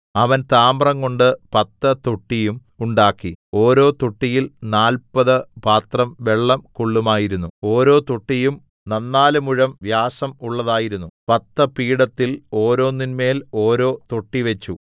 അവൻ താമ്രംകൊണ്ട് പത്ത് തൊട്ടിയും ഉണ്ടാക്കി ഓരോ തൊട്ടിയിൽ നാല്പത് പാത്രം വെള്ളം കൊള്ളുമായിരുന്നു ഓരോ തൊട്ടിയും നന്നാല് മുഴം വ്യാസം ഉള്ളതായിരുന്നു പത്ത് പീഠത്തിൽ ഓരോന്നിന്മേൽ ഓരോ തൊട്ടി വച്ചു